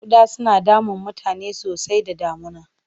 Ƙuda yana damun mutane sosai da damuna.